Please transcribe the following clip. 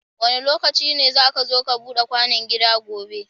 Wanda lokaci ne zaka zo ka Buda kwano gida gobe